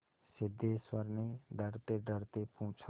सिद्धेश्वर ने डरतेडरते पूछा